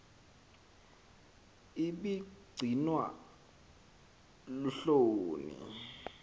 ibi gcinwa luhloni